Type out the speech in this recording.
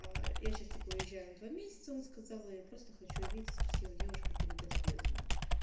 я сейчас типа уезжаю на два месяца он сказал и просто хочу увидеться с красивой девушкой перед отъездом